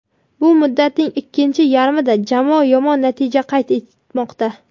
Bu muddatning ikkinchi yarmida jamoa yomon natija qayd etmoqda.